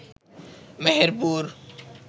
Meherpur